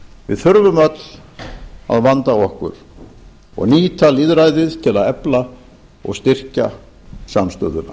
við þurfum öll að vanda okkur og nýta lýðræðið til að efla og styrkja samstöðuna